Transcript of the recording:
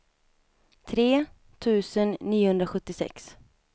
tre tusen niohundrasjuttiosex